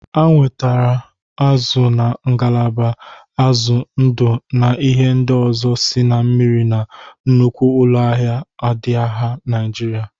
A na-enweta azụ na ngalaba azụ ndụ na ihe ndị ọzọ sị na mmịrị na nnukwu ụlọ ahịa ndịagha Naịjịrịa.